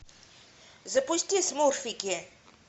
запусти смурфики